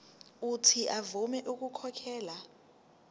uuthi avume ukukhokhela